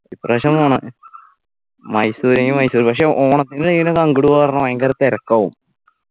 ഇപ്പ്രാവശ്യം പോണം മൈസൂരെങ്കി മൈസൂര് പക്ഷെ ഓണത്തിന് എങ്ങനെയാണ് അങ്ട് പോവ്വാ പറഞ്ഞാൽ ഭയങ്കര തെരക്കാവും